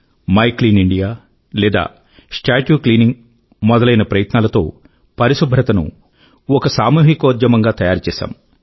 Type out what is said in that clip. my clean India లేదా statue cleaning మొదలైన ప్రయత్నాలతో పరిశుభ్రతను ఒక సామూహికోద్యమంగా తయారుచేశాము